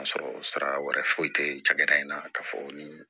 A sɔrɔ sira wɛrɛ foyi tɛ cakɛda in na k'a fɔ nin